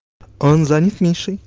он занят мишей